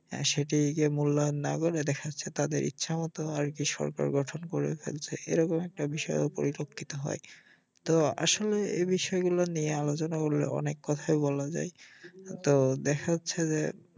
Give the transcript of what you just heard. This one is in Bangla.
সেটিকে মূল্যায়ন না করে দেখা যাচ্ছে তাদের ইচ্ছামত আরকি সরকার গঠন করে ফেলছে এরকম একটা বিষয় পরিলক্ষিত হয় তো আসলে এ বিষয় গুলো নিয়ে আলোচনা করলে অনেক কথাই বলা যায় তো দেখা যাচ্ছে যে